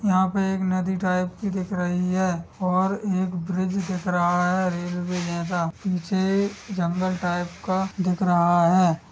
यहाँ पे एक नदी टाइप की दिख रही है और एक ब्रिज दिख रहा है रेलवे जैसा पीछे जंगल टाइप का दिख रहा हैं ।